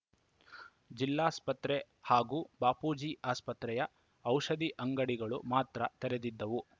ಜಿಲ್ಲಾಸ್ಪತ್ರೆ ಹಾಗೂ ಬಾಪೂಜಿ ಆಸ್ಪತ್ರೆಯ ಔಷಧಿ ಅಂಗಡಿಗಳು ಮಾತ್ರ ತೆರೆದಿದ್ದವು